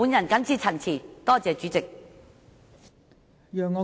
我謹此陳辭，多謝代理主席。